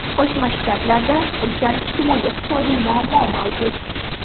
Qo‘shma Shtatlarda ulkan ijtimoiy-iqtisodiy muammo mavjud.